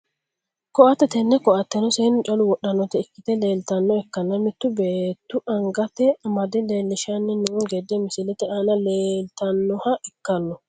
Koatte tene koateno seenu calla wodhanota ikite leeltanoha ikkanna mittu beetu angate amade leelishani noo gede misilete aana leeltanoha ikano.